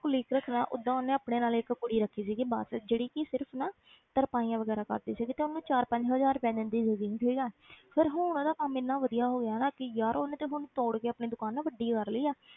Colleague ਰੱਖਣਾ ਓਦਾਂ ਉਹਨੇ ਆਪਣੇ ਨਾਲ ਇੱਕ ਕੁੜੀ ਰੱਖੀ ਸੀਗੀ ਬਸ ਜਿਹੜੀ ਕਿ ਸਿਰਫ਼ ਨਾ ਤਰਪਾਈਆਂ ਵਗ਼ੈਰਾ ਕਰਦੀ ਸੀਗੀ ਤੇ ਉਹਨੂੰ ਚਾਰ ਪੰਜ ਹਜ਼ਾਰ ਰੁਪਇਆ ਦਿੰਦੀ ਸੀਗੀ ਠੀਕ ਹੈ ਫਿਰ ਹੁਣ ਉਹਦਾ ਕੰਮ ਇੰਨਾ ਵਧੀਆ ਹੋ ਗਿਆ ਨਾ ਕਿ ਯਾਰ ਉਹਨੇ ਤੇ ਹੁਣ ਤੋੜ ਕੇ ਆਪਣੀ ਦੁਕਾਨ ਨਾ ਵੱਡੀ ਕਰ ਲਈ ਆ।